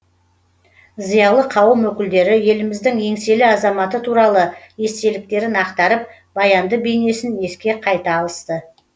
зиялы қауым өкілдері еліміздің еңселі азаматы туралы естеліктерін ақтарып баянды бейнесін еске қайта алысты